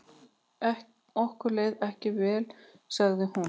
Okkur leið ekki vel sagði hún.